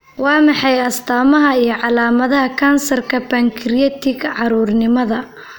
Waa maxay astaamaha iyo calaamadaha kansarka Pancreatic, carruurnimada?